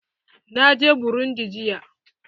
Na je burundi jiya.